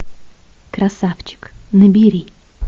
красавчик набери